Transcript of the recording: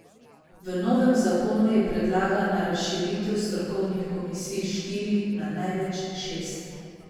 V novem zakonu je predlagana razširitev strokovnih komisij s štirih na največ šest.